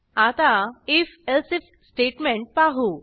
आता if else if statement पाहू